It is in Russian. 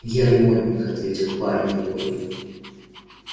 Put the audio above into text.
я ремонтник ответил парень и гордо